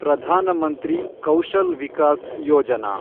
Pradhan Mantri Kaushal Vikas Yojana